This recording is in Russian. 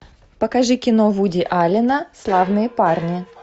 покажи кино вуди аллена славные парни